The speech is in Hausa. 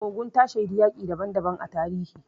Ogun ta shaidi yaƙi daban daban a tarihi.